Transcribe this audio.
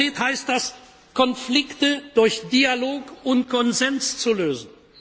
Konkret heißt das, Konflikte durch Dialog und Konsens zu lösen.